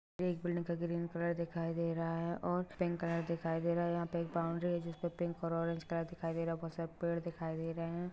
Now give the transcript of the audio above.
यह एक बिलिंग का ग्रीन कलर दिखाय दे रहा है और पिंक कलर दिखाय दे रहा है यहा पे एक बॉउंड्री है जिस पर पिंक और ओरेंज कलर दिखाय दे रहे है बहुत सारे पेड़ दिखाय दे रहे है।